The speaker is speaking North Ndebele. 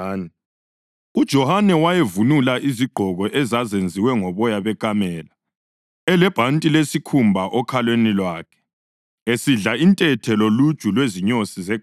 UJohane wayevunula izigqoko ezazenziwe ngoboya bekamela, elebhanti lesikhumba okhalweni lwakhe, esidla intethe loluju lwezinyosi zeganga.